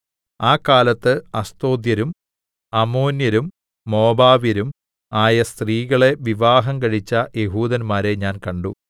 ആ കാലത്ത് അസ്തോദ്യരും അമ്മോന്യരും മോവാബ്യരും ആയ സ്ത്രീകളെ വിവാഹം കഴിച്ച യെഹൂദന്മാരെ ഞാൻ കണ്ടു